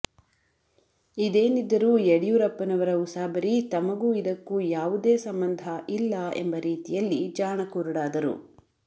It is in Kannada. ಇದೇನಿದ್ದರು ಯಡಿಯೂರಪ್ಪನವರ ಉಸಾಬರಿ ತಮಗೂ ಇದಕ್ಕೂ ಯಾವುದೇ ಸಂಬಂಧ ಇಲ್ಲ ಎಂಬ ರೀತಿಯಲ್ಲಿ ಜಾಣ ಕುರುಡಾದರು